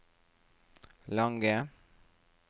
lange